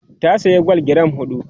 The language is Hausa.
ta saya gwal giram huɗu